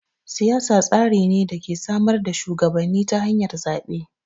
Siyasa tsari ne da ke samar da shuwagabanni ta hanyar zaɓe.